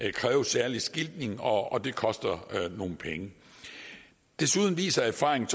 det kræver en særlig skiltning og det koster nogle penge desuden viser erfaringen